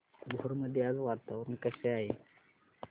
भोर मध्ये आज वातावरण कसे आहे